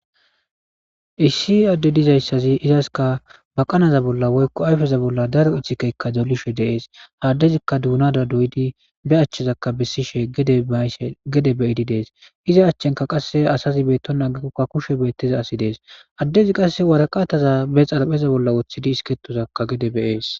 Issi adde dizayssazi izaska baqanaza bolla woykko ayfeza bolla daro ichcikeykka dolishe deees haaddezikka duunada doyidi be achchezakka bessishe gedeayshe gede beyidi dees iza achchenka qasse asazi beetto nagikokka kushe beettiza asi dees addezi qasse waraqataza be xarpheza bolla woththidi isketozakka gede beyees.